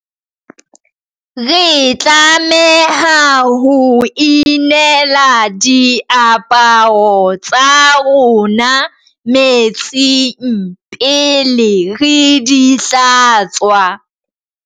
re tlameha ho inela diaparo tsa rona metsing pele re di hlatswa